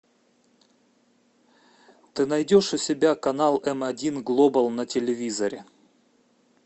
ты найдешь у себя канал м один глобал на телевизоре